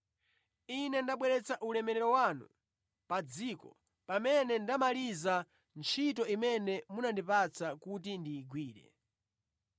Ine ndabweretsa ulemerero wanu pa dziko pamene ndamaliza ntchito imene munandipatsa kuti ndi igwire.